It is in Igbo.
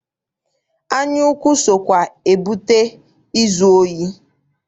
Anyaukwu sokwa ebute izu ohi.